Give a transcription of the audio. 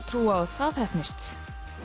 trú á að það heppnist